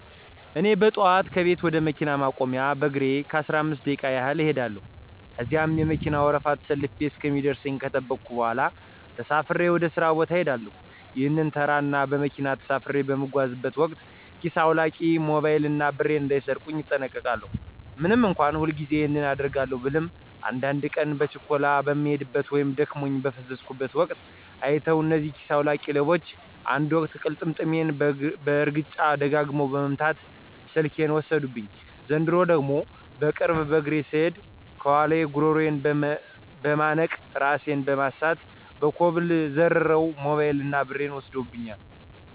እኔ በጠዋት ከቤቴ ወደ መኪና ማቆሚያ በእግሬ ለአስራአምስት ደቂቃ ያህል እኸዳለው። ከዚያ የመከና ወረፋ ተሰልፌ እስከሚደርሰኝ ከጠበኩ በኋላ ተሳፍሬ ወደ ሥራ ቦታ እሄዳለሁ። ይህንን ተራ እና በመኪና ተሳፍሬ በምጓዝበት ወቅት ኪስ አዉላቂዎች ሞባይል እና ብሬን እንዳይሰርቁኝ እጠነቀቃለው። ምንም እንኳ ሁልጊዜ ይህንን አደርጋለው ብልም አንዳድ ቀን በችኮላ በምሄድበት ወይም ደክሞኝ በፈዘዝኩበት ወቅት አይተዉ እነዚህ ኪሰ አዉላቂ ሌቦች አንድ ወቅት ቅልጥሜን በእርግጫ ደጋግመው በመምት ስልኬን ወሰዱብኝ፤ ዘንድሮ ደግሞ በቅርቡ በእግሬ ስሄድ ከኋላየ ጉረሮየን በመነቅ እራሴን በማሳት ከኮብል ዘርረዉ ሞበይል እና ብሬን ወስደውብኛል።